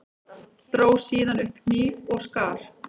Dró síðan upp hníf og skar.